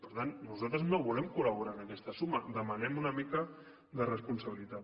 per tant nosaltres no volem col·laborar en aquesta suma demanem una mica de responsabilitat